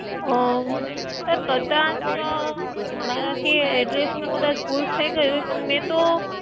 આહ sir કદાચ મારા થી address માં કદાચ ભૂલ થઈ ગઈ હોય. પણ મે તો